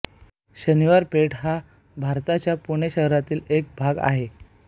शनिवार पेठ हा भारताच्या पुणे शहरातील एक भाग आहे